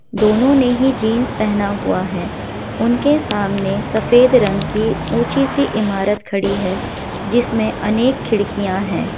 दोनो ने ही जींस पहना हुआ है उनके सामने सफेद रंग की ऊंची सी इमारत खड़ी है जिसमे अनेक खिड़किया है।